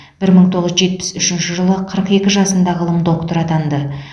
бір мың тоғыз жүз жетпіс үшінші жылы қырық екі жасында ғылым докторы атанды